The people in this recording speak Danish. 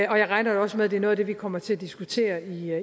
og jeg regner da også med at det er noget af det vi kommer til at diskutere i